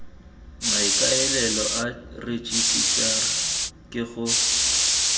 maikaelelo a rejisetara ke go